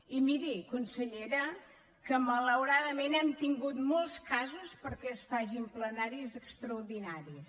i miri consellera que malauradament hem tingut molts casos perquè es facin plenaris extraordinaris